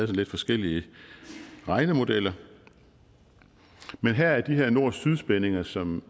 lidt forskellige regnemodeller men her var de her nord syd spændinger som